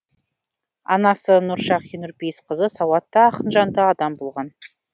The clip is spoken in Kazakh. анасы нұршағи нұрпейісқызы сауатты ақынжанды адам болған